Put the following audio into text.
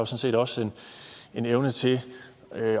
set også har en evne til